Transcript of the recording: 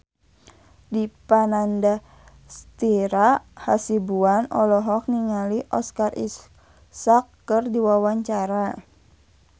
Dipa Nandastyra Hasibuan olohok ningali Oscar Isaac keur diwawancara